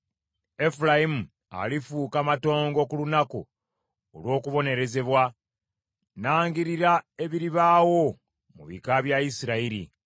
Efulayimu alifuuka matongo ku lunaku olw’okubonerezebwa. Nnangirira ebiribaawo mu bika bya Isirayiri.